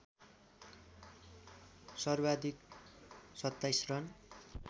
सर्वाधिक २७ रन